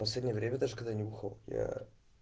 последнее время даже когда я не бухал я